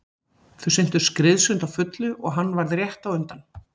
Þau syntu skriðsund á fullu og hann varð rétt á undan.